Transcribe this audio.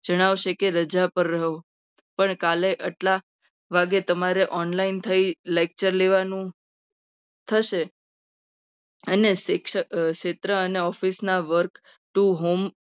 જણાવશે કે રજા પર રહો. પણ કાલે કેટલા વાગે તમારે online થઈ lecture લેવાનું થશે. અને શિક્ષક ક્ષેત્રે અને office ના વર્ગ work to home